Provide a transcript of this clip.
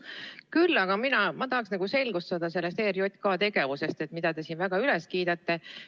Küll aga tahaksin mina selgust saada ERJK tegevuses, mida te siin väga kiidate.